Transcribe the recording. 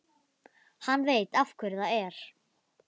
Sögur um gagnkvæma aðstoð við fæðingar eru merkilega algengar.